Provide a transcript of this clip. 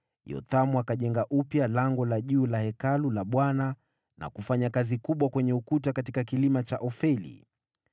Yothamu akajenga upya Lango la Juu la Hekalu la Bwana na kufanya kazi kubwa kwenye ukuta katika kilima cha Ofeli.